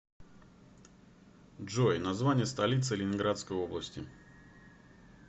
джой название столицы ленинградской области